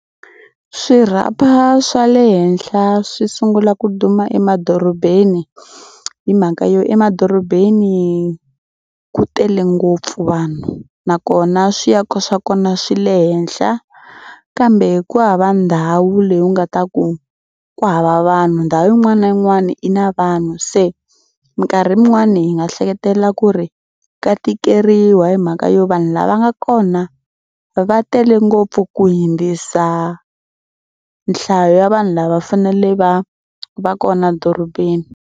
Swirhapa swa le henhla swi sungula ku duma emadorobeni hi mhaka yo emadorobeni ku tele ngopfu vanhu nakona swiako swa kona swi le henhla kambe ku hava ndhawu leyi u nga ta ku ku hava vanhu ndhawu yin'wana na yin'wana i na vanhu. Se mikarhi yin'wani hi nga hleketelela ku ri ka tikeriwa hi mhaka yo vanhu lava nga kona va tele ngopfu ku hundzisa nhlayo ya vanhu lava fanele va va kona dorobeni.